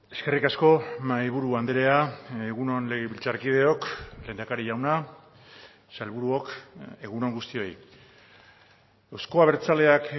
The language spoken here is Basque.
eskerrik asko mahaiburu andrea egun on legebiltzarkideok lehendakari jauna sailburuok egun on guztioi euzko abertzaleak